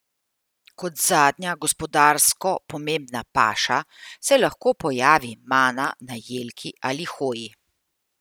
Kot zadnja gospodarsko pomembna paša se lahko pojavi mana na jelki ali hoji.